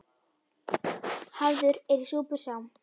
Hafður er í súpur sá.